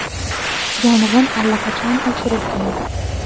Yong‘in allaqachon o‘chirilgan.